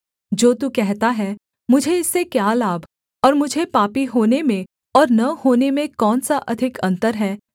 जो तू कहता है मुझे इससे क्या लाभ और मुझे पापी होने में और न होने में कौन सा अधिक अन्तर है